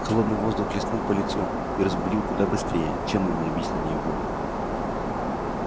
холодный воздух хлестнул по лицу и разбудил куда быстрее чем нудные объяснения вуда